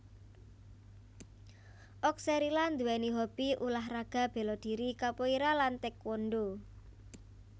Oxcerila nduwèni hobi ulah raga béladhiri capoeira lan taékwondo